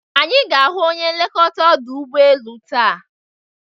Anyi ga-ahụ onye nlekọta ọdụ ụbọelu taa